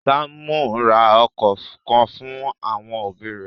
Sámú ra okọ̀ kan fún àwọn òbí rẹ̀.